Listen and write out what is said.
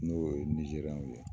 N'o ye nizeriyɛnw ye